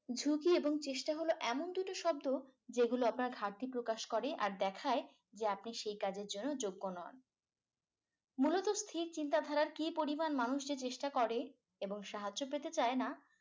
ঝুকি এবং চেষ্টা হল এমন দুটি শব্দ । যেগুলো আপনার ঘাটতি প্রকাশ করে আর দেখায় যে আপনি সে কাজের জন্য যোগ্য নন। মূলত স্থির চিন্তাধারা কি পরিমান মানুষের চেষ্টা করে এবং সাহায্য পেতে চায় না